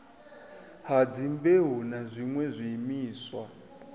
ha dzimbeu na zwiṋwe zwiimiswa